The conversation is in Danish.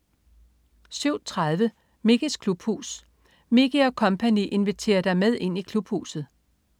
07.30 Mickeys klubhus. Mickey og co. inviterer dig med ind i Klubhuset!